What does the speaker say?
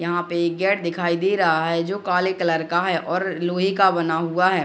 यहाँ पे एक गेट दिखाई दे रहा है जो काले कलर का है और लोहे का बना हुआ है ।